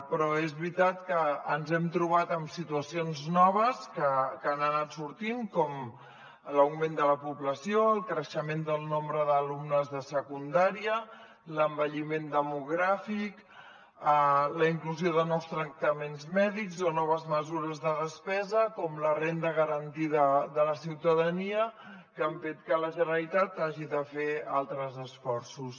però és veritat que ens hem trobat amb situacions noves que han anat sortint com l’augment de la població el creixement del nombre d’alumnes de secundària l’envelliment demogràfic la inclusió de nous tractaments mèdics o noves mesures de despesa com la renda garantida de la ciutadania que han fet que la generalitat hagi de fer altres esforços